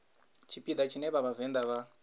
tshipiḓa tshine vha vhavenḓa vha